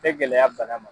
Tɛ gɛlɛya bana ma